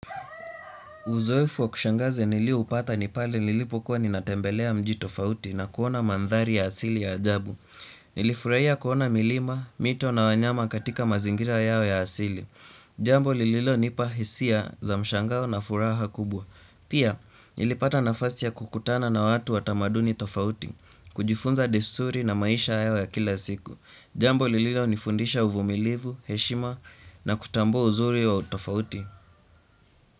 Uzoefu wa kushangaze nilioupata ni pale nilipokuwa ninatembelea mji tofauti na kuona mandhari ya asili ya ajabu. Nilifurahia kuona milima, mito na wanyama katika mazingira yao ya asili. Jambo lililonipa hisia za mshangao na furaha kubwa. Pia, nilipata nafasi ya kukutana na watu wa tamaduni tofauti, kujifunza desturi na maisha yao ya kila siku. Jambo lililonifundisha uvumilivu, heshima na kutambua uzuri wa tofauti.